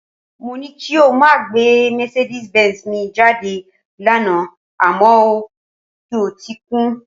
Mó ní kí o máa gbé mercedez benz mi jáde lánàá àmọ́ o kọtí ikún